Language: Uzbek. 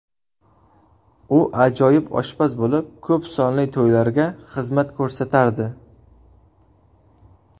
U ajoyib oshpaz bo‘lib, ko‘p sonli to‘ylarga xizmat ko‘rsatardi.